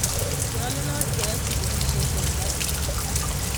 Nyolunot keyai chigilisheet en labit